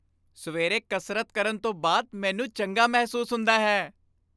ਸਵੇਰੇ ਕਸਰਤ ਕਰਨ ਤੋਂ ਬਾਅਦ ਮੈਨੂੰ ਚੰਗਾ ਮਹਿਸੂਸ ਹੁੰਦਾ ਹੈ।